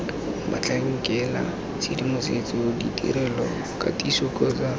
batlhankela tshedimosetso ditirelo katiso kgotsa